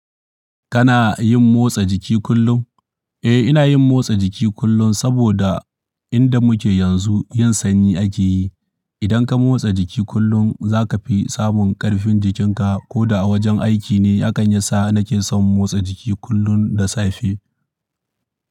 Kana yin motsa jiki kullum? Eh, ina yin motsa jiki kullum saboda inda muke yanzu yin sanyi ake yi. Idan ka motsa jiki kullum za ka fi samun ƙarfin jikinka ko da a wajen aiki ne. Hakan ya sa nake son motsa jiki kullum da safe.